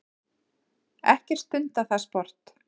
Ekkert stundað það sport.